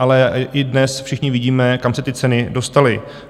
Ale i dnes všichni vidíme, kam se ty ceny dostaly.